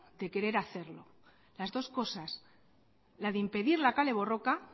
de querer hacerlo las dos cosas la de impedir la kale borroka